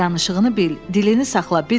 Danışığını bil, dilini saxla Biddl.